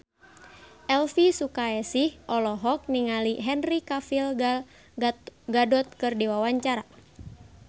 Elvy Sukaesih olohok ningali Henry Cavill Gal Gadot keur diwawancara